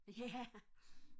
ja